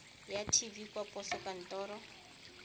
ya tv kwa poso kantorong